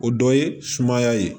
O dɔ ye sumaya ye